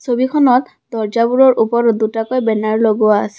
ছবিখনত দৰ্জাবোৰৰ ওপৰত দুটাকৈ বেনাৰ লগোৱা আছে।